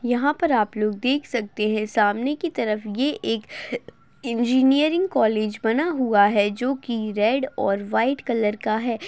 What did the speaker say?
यहां पर आप लोग देख सकते हैं सामने की तरफ ये एक इंजिनियरिंग कॉलेज बना हुआ है जो की रेड और व्हाइट कलर का है।